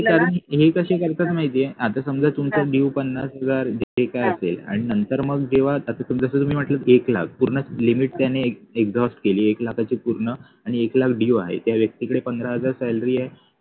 हे कसे करतात माहितीये आता समजा तुमचा deo पन्नास हजार जे काय असेल आणि नंतर मग जेव्हा आता समजा मी म्हटलं एक लाख पूर्ण limit त्याने exhaust केली एक लाखाची पूर्ण आणि एक लाख deo आहे त्या व्यक्तीकडे पंधरा हजार salary आहे